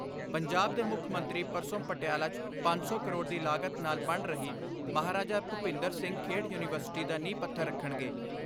ਪੰਜਾਬ ਦੇ ਮੁੱਖ ਮੰਤਰੀ ਪਰਸੋ' ਪਟਿਆਲਾ 'ਚ 500 ਕਰੋੜ ਦੀ ਲਾਗਤ ਨਾਲ ਬਣ ਰਹੀ ਮਹਾਰਾਜਾ ਭੂਪਿੰਦਰ ਸਿੰਘ ਖੇਡ ਯੁਨੀਵਰਸਿਟੀ ਦਾ ਨੀਂਹ ਪੱਥਰ ਰੱਖਣਗੇ।